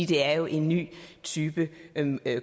det er jo en ny type